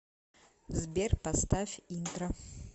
сбер поставь интро